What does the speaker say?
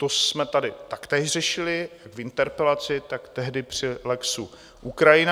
To jsme tady taktéž řešili jak v interpelaci, tak tehdy při lexu Ukrajina.